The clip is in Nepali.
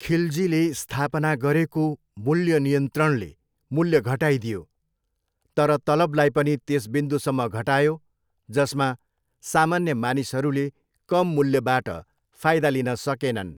खिलजीले स्थापना गरेको मूल्य नियन्त्रणले मूल्य घटाइदियो, तर तलबलाई पनि त्यस बिन्दुसम्म घटायो जसमा सामान्य मानिसहरूले कम मूल्यबाट फाइदा लिन सकेनन्।